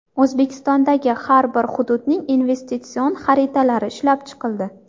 O‘zbekistondagi har bir hududning investitsion xaritalari ishlab chiqildi.